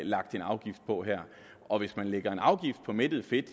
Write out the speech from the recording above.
lagt en afgift på her og hvis man lægger en afgift på mættet fedt